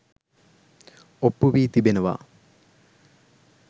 ඔප්පු වී තිබෙනවා.